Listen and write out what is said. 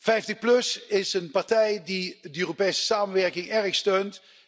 50PLUS is een partij die de Europese samenwerking erg steunt.